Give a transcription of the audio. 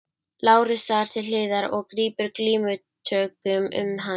Lárusar til hliðar og grípur glímutökum um hann.